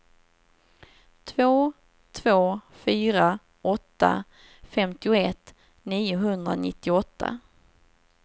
två två fyra åtta femtioett niohundranittioåtta